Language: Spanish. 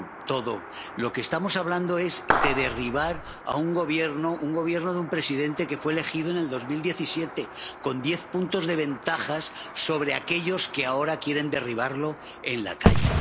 De lo que estamos hablando es de derribar a un gobierno de un presidente que fue elegido en 2017 con diez puntos de ventaja sobre aquellos que ahora quieren derribarlo en la calle.